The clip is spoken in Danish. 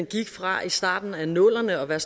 gik fra i starten af nullerne at være